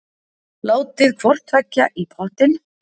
Látið hvort tveggja í pottinn.